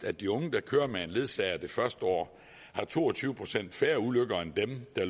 at de unge der kører med en ledsager det første år har to og tyve procent færre ulykker end dem der